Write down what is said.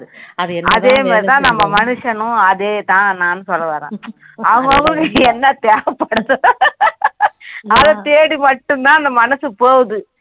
அதே மாதிரி தான் நம்ம மனுஷனும் அதே தான் நானும் சொல்ல வரேன் அவன் அவனுக்கு என்ன தேவைபடுதோ அதை தேடி மட்டும் தான் அந்த மனசு போகுது